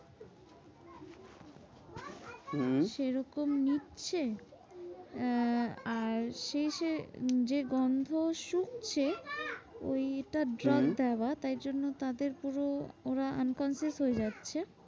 হম সেরকম নিচ্ছে আহ আর যেই সে গন্ধ শুকে। ওইটা drug হম দেওয়া তাই জন্য তাদের পুরু ওরা unconscious হয়ে যাচ্ছে।